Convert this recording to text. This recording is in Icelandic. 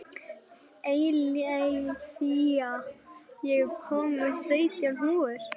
Eileiþía, ég kom með sautján húfur!